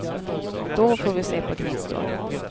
Då får vi se på gnistor.